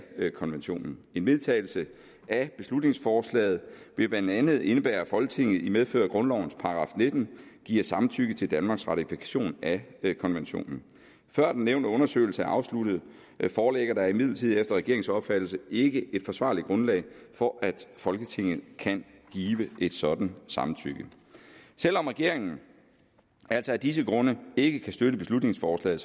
konventionen en vedtagelse af beslutningsforslaget ville blandt andet indebære at folketinget i medfør af grundlovens § nitten giver samtykke til danmarks ratifikation af konventionen før den nævnte undersøgelse er afsluttet foreligger der imidlertid efter regeringens opfattelse ikke et forsvarligt grundlag for at folketinget kan give et sådant samtykke selv om regeringen altså af disse grunde ikke kan støtte beslutningsforslaget